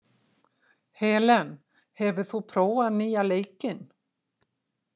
Helen, hefur þú prófað nýja leikinn?